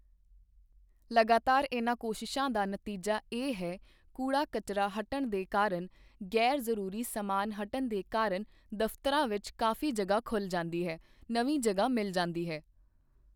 ਲਗਾਤਾਰ ਇਨ੍ਹਾਂ ਕੋਸ਼ਿਸ਼ਾਂ ਦਾ ਨਤੀਜਾ ਇਹ ਹੈ ਕੂੜਾ ਕਚਰਾ ਹਟਣ ਦੇ ਕਾਰਨ ਗ਼ੈਰ ਜ਼ਰੂਰੀ ਸਮਾਨ ਹਟਣ ਦੇ ਕਾਰਨ ਦਫਤਰਾਂ ਵਿੱਚ ਕਾਫੀ ਜਗ੍ਹਾ ਖੁੱਲ੍ਹ ਜਾਂਦੀ ਹੈ, ਨਵੀਂ ਜਗ੍ਹਾ ਮਿਲ ਜਾਂਦੀ ਹੈ।